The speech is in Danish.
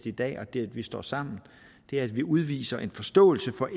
i dag og det at vi står sammen er at vi udviser en forståelse for